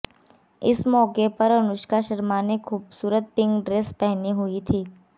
इस मौके पर अनुष्का शर्मा ने खूबसूरत पिंक ड्रेस पहनी हुई थी